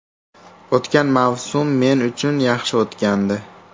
O‘tgan mavsum men uchun yaxshi o‘tgandi.